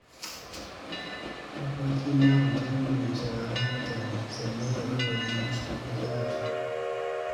Abokina mutum ne mai sauraron mutane, sannan ya warware musu matsalarsu.